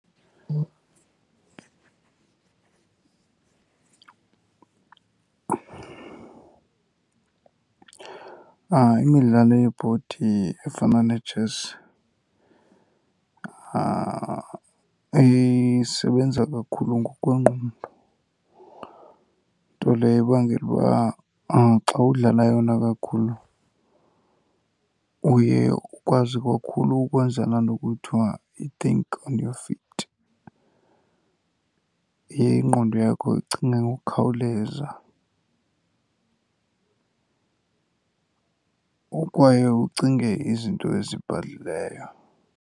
Imidlalo yebhodi efana netshesi isebenza kakhulu ngokwengqondo, nto leyo ebangela uba xa udlala yona kakhulu uye ukwazi kakhulu ukwenza laa nto kuthiwa yi-think on your feet. Ingqondo yakho icinga ngokukhawuleza, kwaye ucinge izinto ezibhadlileyo.